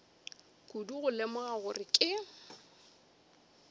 kudu go lemoga gore ke